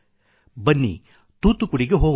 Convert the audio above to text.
ಬನ್ನಿ ತೂತ್ತುಕುಡಿಗೆ ಹೊಗೋಣ